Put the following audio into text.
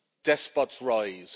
Despots rise